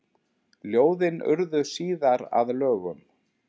Ljóðin urðu síðar að lögum.